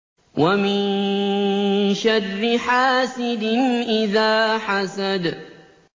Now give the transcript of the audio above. وَمِن شَرِّ حَاسِدٍ إِذَا حَسَدَ